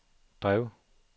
drev